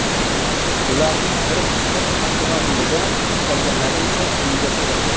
Ularning bir qismi avtomobilida, qolganlari esa uyida saqlangan.